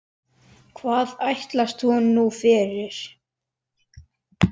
Hvað ætlast hún nú fyrir?